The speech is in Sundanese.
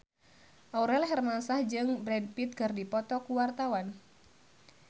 Aurel Hermansyah jeung Brad Pitt keur dipoto ku wartawan